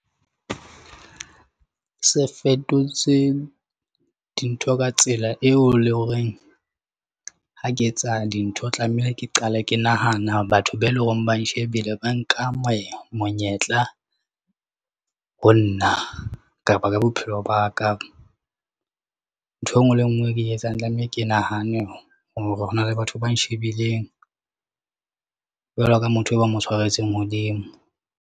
Se fetotse dintho ka tsela eo le horeng. Ha ke etsa dintho tlamehile, ke qala ke nahana batho be e leng hore ba nshebile ba nka monyetla ho nna kapa ka bophelo ba ka. Ntho e nngwe le e nngwe e ke etsang tlameha ke nahane hore hona le batho ba shebileng jwalo ka motho eo ba mo tshwaretseng hodimo.